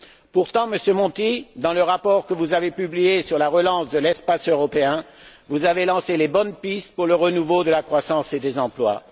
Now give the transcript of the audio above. Pourtant, Monsieur Monti, dans le rapport que vous avez publié sur la relance de l'espace européen, vous avez lancé les bonnes pistes pour le renouveau de la croissance et des emplois.